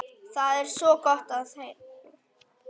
Þar er gott að koma.